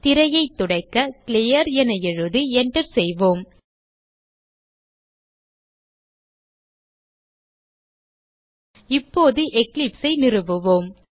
திரையை துடைக்க கிளியர் என எழுதி enter செய்வோம் இப்போது eclipse ஐ நிறுவுவோம்